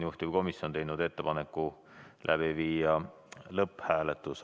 Juhtivkomisjon on teinud ettepaneku läbi viia lõpphääletus.